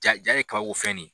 Jaa ja ye kabako fɛ de ye?